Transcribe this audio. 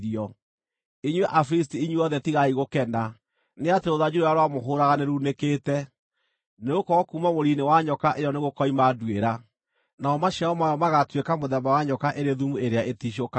Inyuĩ Afilisti inyuothe tigai gũkena, nĩ atĩ rũthanju rũrĩa rwamũhũũraga nĩrunĩkĩte; nĩgũkorwo kuuma mũri-inĩ wa nyoka ĩyo nĩgũkoima nduĩra, namo maciaro mayo magaatuĩka mũthemba wa nyoka ĩrĩ thumu ĩrĩa ĩticũkaga.